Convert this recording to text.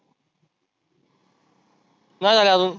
नाही झाले आजुन